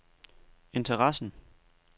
interessen